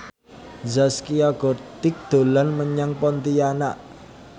Zaskia Gotik dolan menyang Pontianak